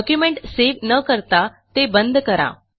document save न करता ते बंद करा